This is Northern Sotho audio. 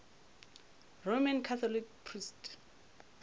roman catholic priest